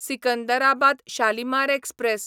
Secunderabad Shalimar express